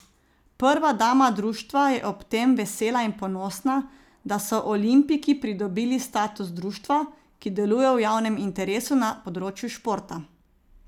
Prva dama društva je ob tem vesela in ponosna, da so Olimpiki pridobili status društva, ki deluje v javnem interesu na področju športa.